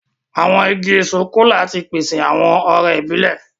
Àwọn ìgi èso Kola tí pèsè awọn ọrẹ ibilẹ.